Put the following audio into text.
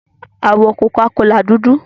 Àwọ̀ Coca-Cola dúdú.